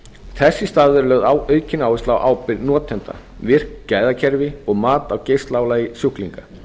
þess í stað verður lögð aukin áhersla á ábyrgð notenda virkt gæðakerfi og mat á geislaálagi sjúklinga